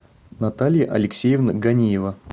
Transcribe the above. наталья алексеевна ганиева